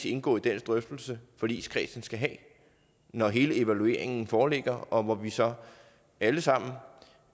indgå i den drøftelse forligskredsen skal have når hele evalueringen foreligger og hvor vi så alle sammen